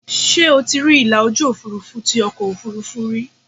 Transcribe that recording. Ṣé o ti rí ìlà ojú Òfurufú tí ọkọ̀ Òfurufú rí?